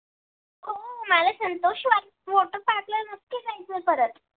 त्या Santoshi water park ला नक्की जायचय परत